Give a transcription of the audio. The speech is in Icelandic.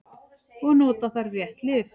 Og nota þarf rétt lyf.